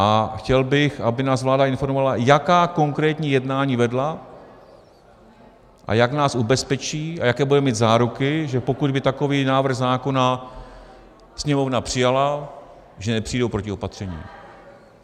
A chtěl bych, aby nás vláda informovala, jaká konkrétní jednání vedla a jak nás ubezpečí a jaké budeme mít záruky, že pokud by takový návrh zákona Sněmovna přijala, že nepřijdou protiopatření.